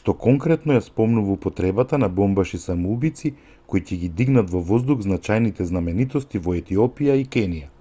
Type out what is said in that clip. што конкретно ја спомнува употребата на бомбаши-самоубијци кои ќе ги дигнат во воздух значајните знаменитости во етиопија и кенија